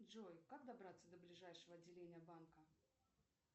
джой как добраться до ближайшего отделения банка